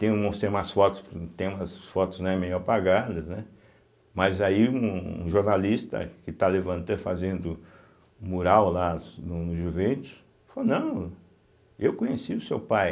Tem umas fotos, tem umas fotos, né, meio apagadas, né, mas aí um um jornalista que está levantan fazendo mural lá no Juventus falou, não, eu conheci o seu pai.